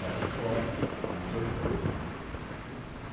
Caíram fora, para não serem presos.